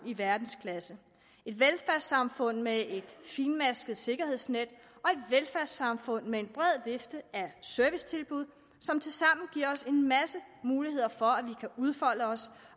i verdensklasse et velfærdssamfund med et fintmasket sikkerhedsnet og et velfærdssamfund med en bred vifte af servicetilbud som tilsammen giver os en masse muligheder for at vi kan udfolde os